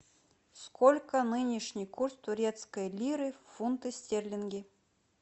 сколько нынешний курс турецкой лиры в фунты стерлинги